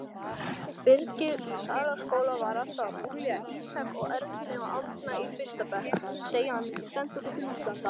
Í næstu viku tökum við svo í notkun nýtt kerfi sem verður mjög glæsilegt!